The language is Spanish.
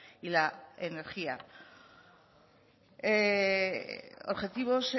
y la energía objetivos